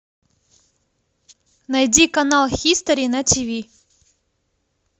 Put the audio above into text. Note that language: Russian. найди канал хистори на тиви